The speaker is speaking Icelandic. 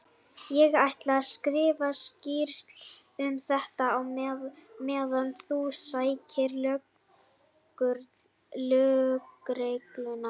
Ég ætla að skrifa skýrslu um þetta á meðan þú sækir lögregluna.